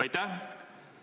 Aitäh!